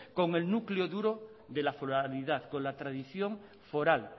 con el núcleo duro de la solidaridad con la tradición foral